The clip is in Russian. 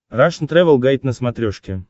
рашн тревел гайд на смотрешке